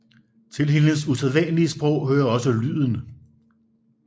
Til hendes usædvanlige sprog hører også lyden